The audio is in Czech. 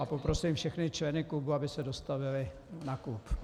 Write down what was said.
A poprosím všechny členy klubu, aby se dostavili na klub.